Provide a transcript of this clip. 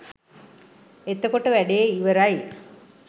එතකොට වැඩේ ඉවරයි.